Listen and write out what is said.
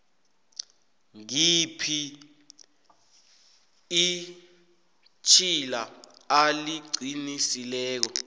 ngihphi itjhila aliqinileko